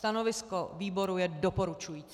Stanovisko výboru je doporučující.